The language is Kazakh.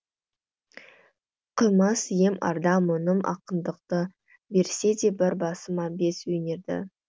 қимас ем арда мұңым ақындықты берсе де бір басыма бес өнерді